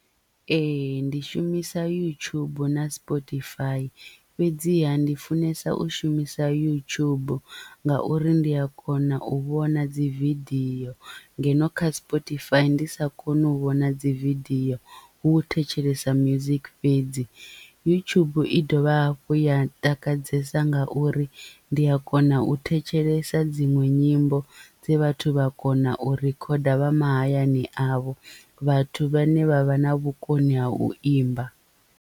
Ee ndi shumisa YouTube na spotify fhedziha ndi funesa u shumisa yutshubu ngauri ndi a kona u vhona dzividiyo ngeno kha spotify ndi sa koni u vhona dzividiyo hu u thetshelesa music fhedzi yutshubu i dovha hafhu ya takadzesa nga uri ndi a kona u thetshelesa dziṅwe nyimbo dze vhathu vha kona u rikhoda vha mahayani avho vhathu vhane vha vha na vhukoni ha u imba.